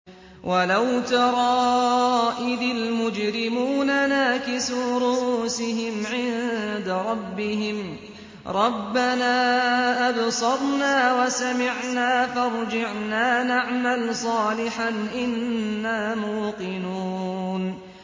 وَلَوْ تَرَىٰ إِذِ الْمُجْرِمُونَ نَاكِسُو رُءُوسِهِمْ عِندَ رَبِّهِمْ رَبَّنَا أَبْصَرْنَا وَسَمِعْنَا فَارْجِعْنَا نَعْمَلْ صَالِحًا إِنَّا مُوقِنُونَ